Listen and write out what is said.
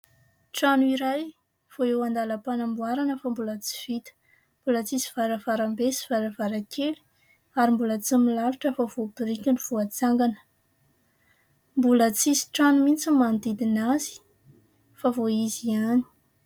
Trano iray vao eo an-dalam-panamboarana fa mbola tsy vita. Mbola tsy misy varavaram-be sy varavara-kely ary mbola tsy milalotra fa vao biriky no voatsangana. Mbola tsy misy trano mihitsy ny manodidina azy fa vao izy ihany.